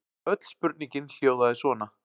Öll spurningin hljóðaði svona: